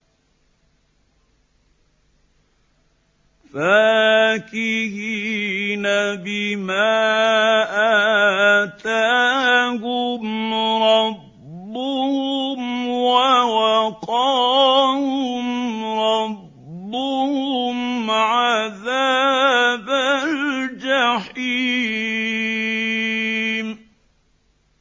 فَاكِهِينَ بِمَا آتَاهُمْ رَبُّهُمْ وَوَقَاهُمْ رَبُّهُمْ عَذَابَ الْجَحِيمِ